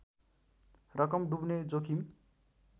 रकम डुब्ने जोखिम